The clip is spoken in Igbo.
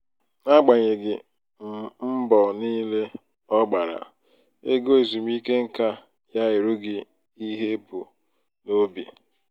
n'agbanyeghị um mbọ um niile ọ gbara ego ezumike nká ya erughị ihe ebu um n'obi.